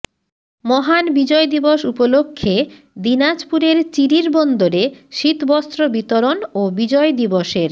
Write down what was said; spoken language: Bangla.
মহান বিজয় দিবস উপলক্ষে দিনাজপুরের চিরিরবন্দরে শীতবস্ত্র বিতরণ ও বিজয় দিবসের